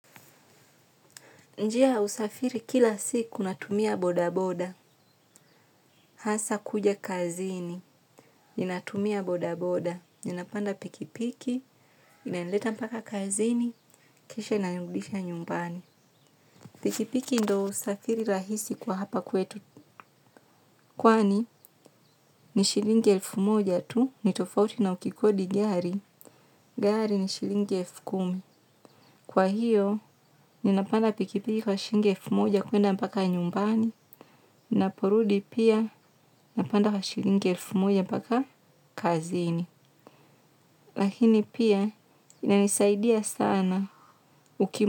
Njia ya usafiri kila siku natumia boda boda, hasa kuja kazini, ninatumia boda boda. Ninapanda pikipiki, inanileta mpaka kazini, kisha inanirudisha nyumbani. Pikipiki ndio usafiri rahisi kwa hapa kwetu. Kwani ni shilingi elfu moja tu, ni tofauti na ukikodi gari, gari ni shilingi elfu kumi. Kwa hiyo, ninapanda pikipiki kwa shingi elfu moja kwenda mpaka nyumbani. Naporudi pia napanda kwa shilingi elfu moja mpaka kazini. Lakini pia inanisaidia sana ukimu.